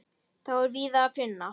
Þá er víða að finna.